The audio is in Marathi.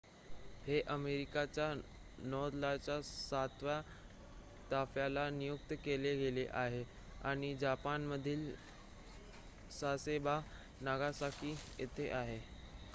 हे अमेरिकेच्या नौदलाच्या सातव्या ताफ्याला नियुक्त केले गेले आहे आणि जपानमधील सासेबो नागासाकी येथे आहे